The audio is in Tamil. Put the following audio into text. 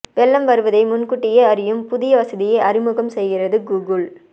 வெள்ளம் வருவதை முன்கூட்டியே அறியும் புதிய வசதியை அறிமுகம் செய்கிறது கூகுள்